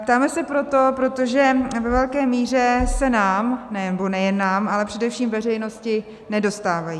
Ptáme se proto, protože ve velké míře se nám - nebo nejen nám, ale především veřejnosti - nedostávají.